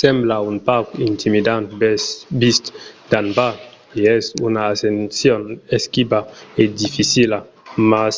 sembla un pauc intimidant vist d'en bas e es una ascension esquiva e dificila mas